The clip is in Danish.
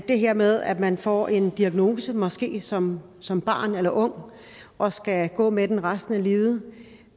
det her med at man får en diagnose måske som som barn eller ung og skal gå med den resten af livet